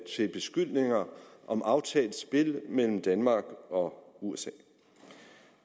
til beskyldninger om aftalt spil mellem danmark og usa